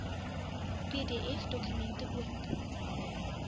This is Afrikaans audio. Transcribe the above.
pdf dokumente oop